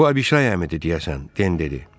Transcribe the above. Bu Abişay əmi idi, deyəsən, Den dedi.